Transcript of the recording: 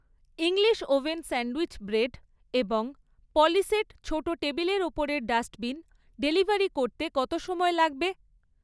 English oven sandwich bread এবং পলিসেট ছোট টেবিলের ওপরের ডাস্টবিন ডেলিভারি করতে কত সময় লাগবে?